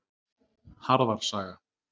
Harðar saga.